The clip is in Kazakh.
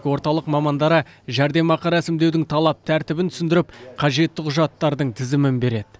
орталық мамандары жәрдемақы рәсімдеудің талап тәртібін түсіндіріп қажетті құжаттардың тізімін береді